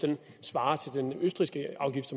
svarer til den østrigske afgift